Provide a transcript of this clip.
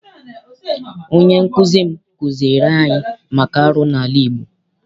Onye nkụzi m kụziere anyị maka arụ n'ala Igbo.